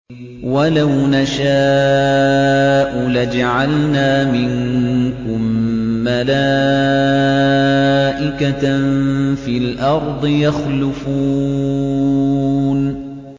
وَلَوْ نَشَاءُ لَجَعَلْنَا مِنكُم مَّلَائِكَةً فِي الْأَرْضِ يَخْلُفُونَ